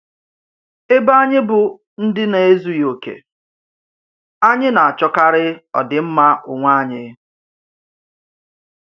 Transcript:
Ébè ányị̀ bụ̀ ndí̀ na-èzùghì òkè, ányị̀ na-àchọ̀karì òdị́mmà ònwé ányị̀.